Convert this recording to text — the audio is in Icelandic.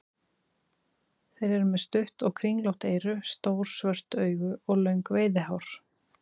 Þeir eru með stutt og kringlótt eyru, stór svört augu og löng veiðihár.